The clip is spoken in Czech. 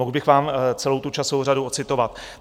Mohl bych vám celou tu časovou řadu odcitovat.